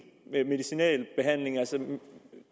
behandling altså